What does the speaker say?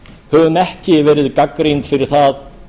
höfum ekki verið gagnrýnd fyrir það